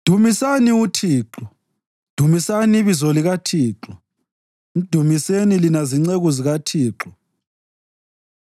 Dumisani uThixo. Dumisani ibizo likaThixo; mdumiseni lina zinceku zikaThixo,